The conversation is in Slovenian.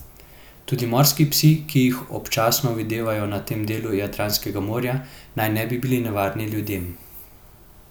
Tudi morski psi, ki jih občasno videvajo na tem delu Jadranskega morja, naj ne bi bili nevarni ljudem.